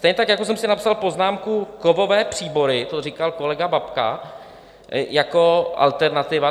Stejně tak jako jsem si napsal poznámku - kovové příbory, to říkal kolega Babka, jako alternativa.